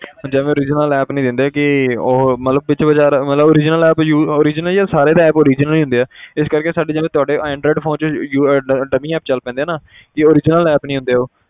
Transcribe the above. ਜਿਵੇਂ original app ਨੀ ਦਿੰਦੇ ਕਿ ਉਹ ਮਤਲਬ ਮਤਲਬ original app ਯੂ~ original ਯਾਰ ਸਾਰੇ ਤਾਂ app original ਹੀ ਹੁੰਦੇ ਹੈ ਤੇ ਇਸ ਕਰਕੇ ਸਾਡੇ ਜਿਵੇਂ ਤੁਹਾਡੇ android phone 'ਚ dummy app ਚੱਲ ਪੈਂਦੇ ਆ ਨਾ ਕਿ original app ਨੀ ਹੁੰਦੇ ਉਹ